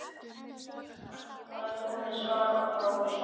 Það er komið svar frá Rússum!